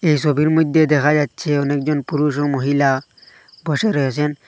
এই সবির মইধ্যে দেখা যাচ্ছে অনেক জন পুরুষ ও মহিলা বসে রয়েছেন।